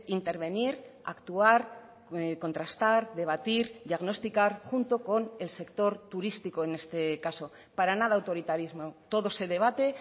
intervenir actuar contrastar debatir diagnosticar junto con el sector turístico en este caso para nada autoritarismo todo se debate